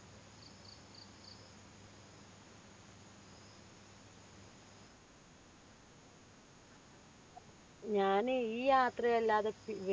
ഞാൻ ഈ യാത്രയല്ലാതെ വേറെ